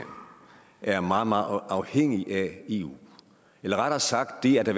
er meget meget afhængig af eu eller rettere sagt det at der